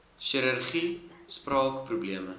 chirurgie spraak probleme